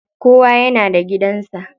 Kowa yana da gidan sa.